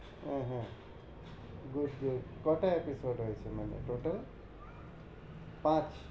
ওহ হো good good মানে পাঁচ